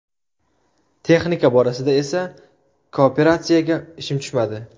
Texnika borasida esa kooperatsiyaga ishim tushmadi.